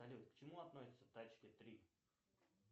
салют к чему относятся тачки три